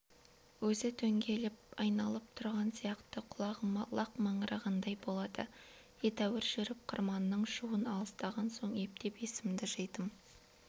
өзі дөңгелеп айналып тұрған сияқты құлағыма лақ маңырағандай болады едәуір жүріп қырманның шуынан алыстаған соң ептеп есімді жидым